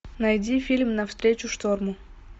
найди фильм навстречу шторму